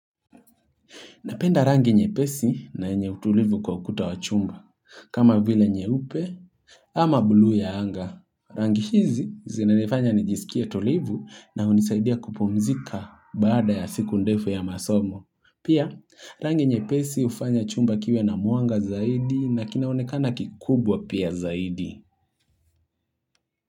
Napenda rangi nyepesi na yenye utulivu kwa ukuta wa chumba, kama vile nyeupe ama buluu ya anga. Rangi hizi zinanifanya nijisikie tulivu na hunisaidia kupumzika baada ya siku ndefu ya masomo. Pia, rangi nyepesi hufanya chumba kiwe na mwanga zaidi na kinaonekana kikubwa pia zaidi.